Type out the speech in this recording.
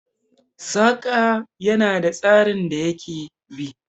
Saƙa ya na da tsarin da ya ke bi